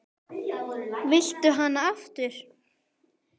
Viltu hana aftur?